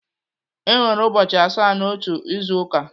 Enwere ụbọchị asaa n'otu izu ụka.